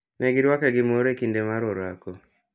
Ne giruake gi mor e kinde gi mar orako.